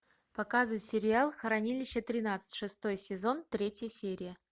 показывай сериал хранилище тринадцать шестой сезон третья серия